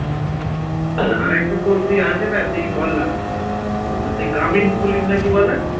একটা তোর কি আছে না যেই বল না উম গ্রামীণ পুলিশ নাকি বলে